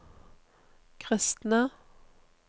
kristne